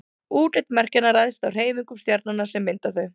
útlit merkjanna ræðst af hreyfingum stjarnanna sem mynda þau